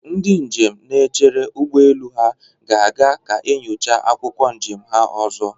Ndị njem na-echere ụgbọelu ahụ ga-aga ka enyocha akwụkwọ njem ha ọzọ.